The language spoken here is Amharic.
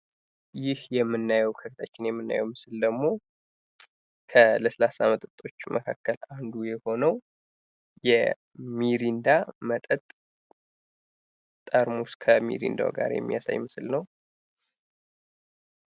ይህ የምናየው ምስል ደሞ ከለስላሳ መጠጦች መካከል አንዱ የሆነው የሚሪንዳ መጠጥ ጠርሙስ የሚያሳይ ምስል ነው።